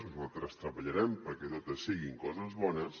nosaltres treballarem perquè totes siguin coses bones